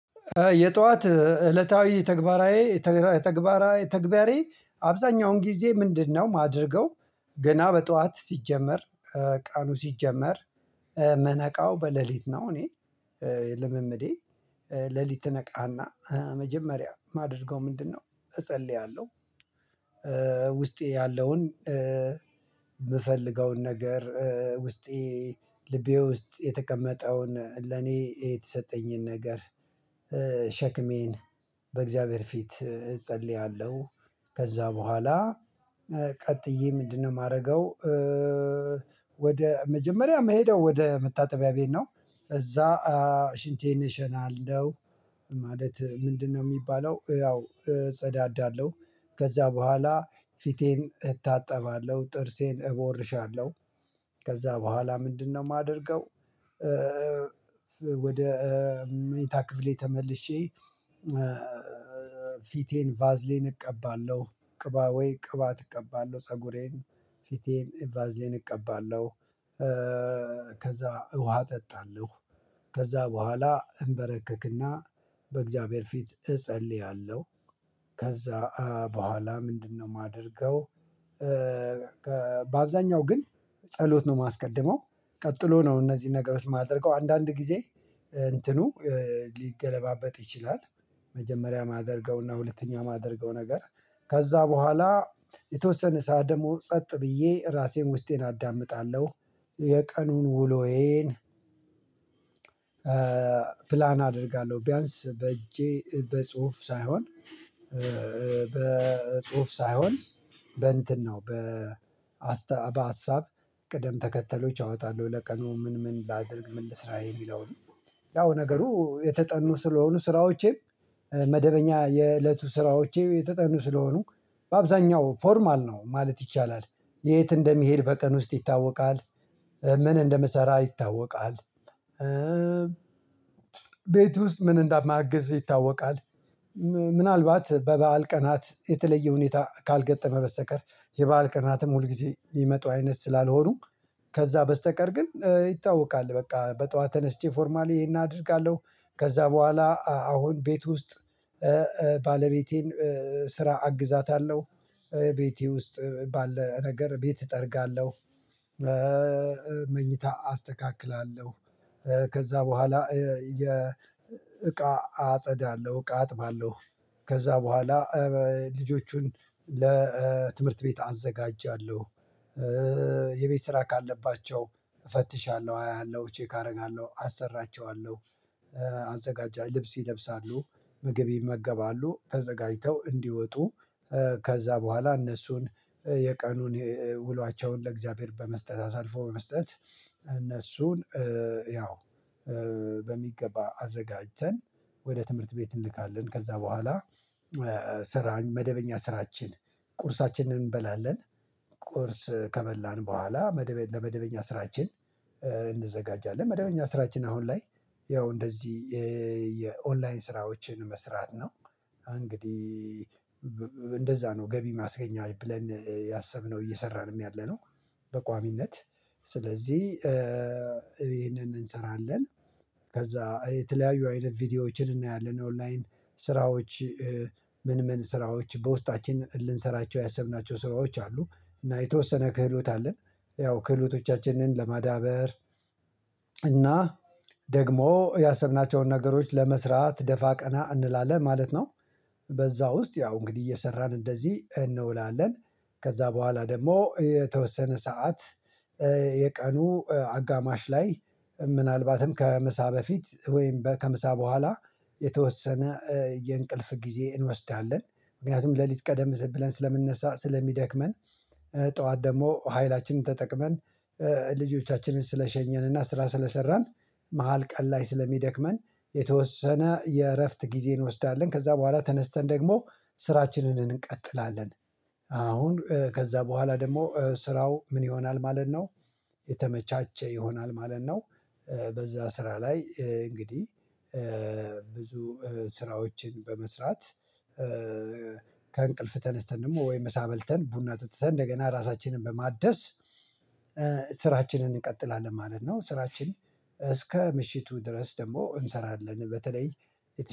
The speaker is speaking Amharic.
የጧት እለታዊ ተግባራዊ ተግባራዊ ተግባሬ አብዛኛውን ጊዜ ምንድነው? የማደርገው ገና በጧት ሲጀመር ቀኑ ሲጀመር ምነቃው በሌሊት ነው። እኔ ልምምዴ ሌሊት እነቃና መጀመሪያ የማደርገው ምንድነው? እጸልያለሁ። ውስጤ ያለውን የምፈልገውን ነገር ውስጤ ልቤ ውስጥ የተቀመጠውን ለኔ የተሰጠኝን ነገር ሸክሜን በእግዚአብሔር ፊት እጸልያለሁ። ከዛ በኋላ ቀጥዬ ምንድነው የማደርገው? ወደ መጀመሪያ መሄደው ወደ መታጠቢያ ቤት ነው። እዛ ሽንቴን እሸናለሁ ማለት ምንድነው የሚባለው ያው እጸዳዳለሁ። ከዛ በኋላ ፊቴን እታጠባለሁ ጥርሴን እቦርሻለሁ። ከዛ በኋላ ምንድነው የማደርገው? ወደ መኝታ ክፍሌ ተመልሼ። ፊቴን ቫዝሊን እቀባለሁ ቅባ ወይ ቅባት እቀባለሁ ፀጉሬን ፊቴን ቫዝሊን እቀባለሁ። ከዛ ውሃ እጠጣለሁ። ከዛ በኋላ እንበረከክና በእግዚአብሔር ፊት እጸልያለሁ። ከዛ በኋላ ምንድነው የማደርገው? በአብዛኛው ግን ጸሎት ነው የማስቀድመው ቀጥሎ ነው እነዚህን ነገሮች የማደርገው አንዳንድ ጊዜ እንትኑ ሊገለባበጥ ይችላል። መጀመሪያ የማደርገውና ሁለተኛ የማደርገው ነገር ከዛ በኋላ የተወሰነ ሰዓት ደግሞ ጸጥ ብዬ ራሴን ውስጤን አዳምጣለሁ። የቀኑን ውሎዬን ፕላን አደርጋለሁ ቢያንስ በእጄ በጽሁፍ ሳይሆን በጽሁፍ ሳይሆን በእንትን ነው በ በሀሳብ ቅደም ተከተሎች አወጣለሁ። ለቀኑ ምን ምን ላድርግ ምን ልስራ የሚለው ነው። ያው ነገሩ የተጠኑ ስለሆኑ ስራዎቼም መደበኛ የእለቱ ስራዎቼ የተጠኑ ስለሆኑ በአብዛኛው ፎርማል ነው ማለት ይቻላል። የት እንደሚሄድ በቀን ውስጥ ይታወቃል። ምን እንደምሰራ ይታወቃል። ቤት ውስጥ ምን እንዳማግዝ ይታወቃል። ምናልባት በበዓል ቀናት የተለየ ሁኔታ ካልገጠመ በስተቀር የባል ቀናትም ሁልጊዜ የሚመጡ አይነት ስላልሆኑ ከዛ በስተቀር ግን ይታወቃል በቃ በጠዋት ተነስቼ ፎርማሊ ይሄን አደርጋለሁ። ከዛ በኋላ አሁን ቤት ውስጥ ባለቤቴን ስራ አግዛታለሁ። ቤቴ ውስጥ ባለ ነገር ቤት እጠርጋለሁ። መኝታ አስተካክላለሁ። ከዛ በኋላ የ እቃ አጸዳለሁ እቃ አጥባለሁ። ከዛ በኋላ ልጆቹን ለትምህርት ቤት አዘጋጃለሁ። የቤት ስራ ካለባቸው እፈትሻለሁ አያሃለሁ ቼክ አደርጋለሁ አሰራቸዋለሁ። አዘጋጃለሁ ልብስ ይለብሳሉ ምግብ ይመገባሉ ተዘጋጅተው እንዲወጡ ከዛ በኋላ እነሱን የቀኑን ውሏቸውን ለእግዚአብሔር በመስጠት አሳልፎ በመስጠት እነሱን ያው በሚገባ አዘጋጀተን ወደ ትምህርት ቤት እንልካለን። ከዛ በኋላ ስራን መደበኛ ስራችን ቁርሳችንን እንበላለን። ቁርስ ከበላን በኋላ መደበኛ ለመደበኛ ስራችን እንዘጋጃለን መደበኛ ስራችን አሁን ላይ ያው እንደዚህ የኦንላይን ስራዎችን መስራት ነው። እንግዲህ እንደዛ ነው ገቢ ማስገኛ ብለን ያሰብነው እየሰራንም ያለነው። በቋሚነት ስለዚህ ይሄንን እንሰራለን። ከዛ የተለያዩ አይነት ቪዲዮዎችን እናያለን ኦንላይን ስራዎች ምን ምን ስራዎች በውስጣችን ልንሰራቸው ያሰብናቸው ስራዎች አሉ እና የተወሰነ ክህሎት አለን። ያው ክህሎቶቻችንን ለማዳበር እና ደግሞ ያሰብናቸውን ነገሮች ለመስራት ደፋ ቀና እንላለን ማለት ነው። በዛ ውስጥ ያው እንግዲህ እየሰራን እንደዚህ እንውላለን። ከዛ በኋላ ደግሞ የተወሰነ ሰዓት የቀኑ አጋማሽ ላይ ምናልባትም ከምሳ በፊት ወይም ከምሳ በኋላ የተወሰነ የእንቅልፍ ጊዜ እንወስዳለን። ምክንያቱም ሌሊት ቀደም ብለን ስለምንነሳ ስለሚደክመን። ጠዋት ደግሞ ኃይላችንን ተጠቅመን ልጆቻችንን ስለሸኘንና ስራ ስለሰራን። መሃል ቀን ላይ ስለሚደክመን የተወሰነ የእረፍት ጊዜ እንወስዳለን። ከዛ በኋላ ተነስተን ደግሞ ስራችንን እንቀጥላለን። አሁን ከዛ በኋላ ደግሞ ስራው ምን ይሆናል ማለት ነው። የተመቻቸ ይሆናል ማለት ነው። በዛ ስራ ላይ እንግዲህ ብዙ ስራዎችን በመስራት ከእንቅልፍ ተነስተን ደግሞ ወይ ምሳ በልተን ቡና ጠጥተን እንደገና ራሳችንን በማደስ ስራችንን እንቀጥላለን። ማለት ነው ስራችን እስከ ምሽቱ ድረስ ደግሞ እንሰራለን። በተለይ